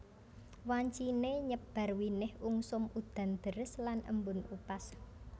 Wanciné nyebar winih ungsum udan deres lan embun upas